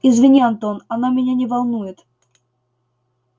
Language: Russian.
извини антон оно меня не волнует